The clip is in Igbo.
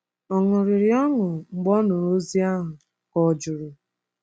Ọ ṅụrịrị ọṅụ mgbe ọ nụrụ ozi ahụ, ka ọ̀ jụrụ?